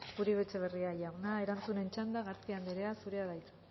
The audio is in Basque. uribe etxebarria jauna erantzunen txanda garcía anderea zurea da hitza